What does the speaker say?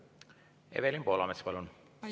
Evelin Poolamets, palun!